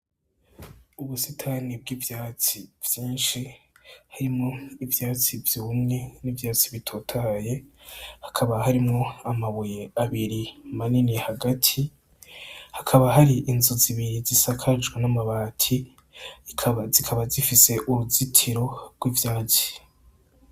Ubusitani bw'ivyatsi vyinshi harimwo ivyatsi vy'umwe n'ivyatsi bitotaye hakaba harimwo amabuye abiri manini hagati hakaba hari inzu zibiri zisakajwe n'amabati zikaba zifise uruzitiro rw'ivyazi.